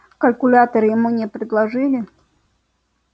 калькулятор ему не предложили